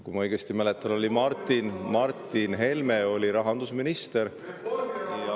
Kui ma õigesti mäletan, oli Martin Helme siis rahandusminister.